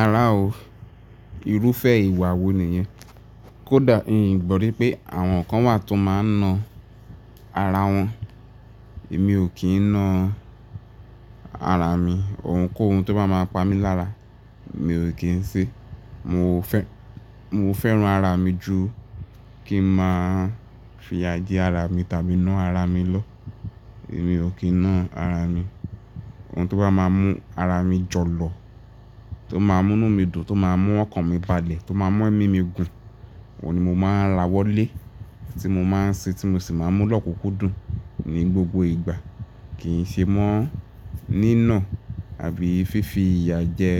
Àrá o. Irúfẹ́ ìwà wo nìyẹn? Kódà hin gbọ́ri pé àwọn kan wà tó máa ń na ara wọn. Èmi ò kí ń na ara mi. Ohunkóhun tó bá máa pa mí lára, mi ò kí ń ṣe. Mo fẹ́, mo fẹ́ràn ara mi ju kí ń máa fìyà jẹ ara mi tàbí na ara mi lọ. Èmi ò kí ń na ara mi. Ohun tó bá máa mú ara mi jọ̀lọ̀, tó máa mú nu mi dùn, tó máa mú ọkàn mi balẹ̀, tó máa mu emi mi gùn, òun ni mo máa ra wọlé, tí mo máa ń ṣe tí mo sì máa mú lọ́kùúkù dùn ní gbogbo ìgbà. Kì í ṣe mọ́ ní ì náà àbí fífi ìyà jẹ